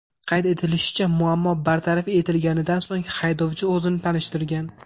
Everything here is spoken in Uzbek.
Qayd etilishicha, muammo bartaraf etilganidan so‘ng haydovchi o‘zini tanishtirgan.